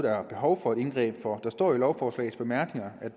er behov for et indgreb for der står jo i lovforslagets bemærkninger